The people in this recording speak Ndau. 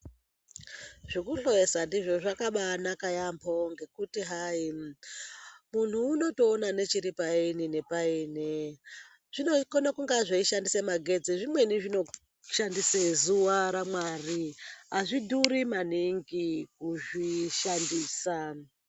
Zvekuhloyesa ndizvo zvakaba anaka yeyamho ngekuti hai muntu unotoona nechiri paini nepaini unokona kunga zveishandisa magetsi zvimweni zvinoshandisa zuva ramwari, azvidhuri maningi kuzvishandisa.